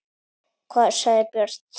Hvað sagði Björn Þorri?